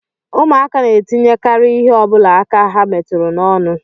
Ụmụaka na-etinyekarị ihe ọ bụla aka ha metụrụ n'ọnụ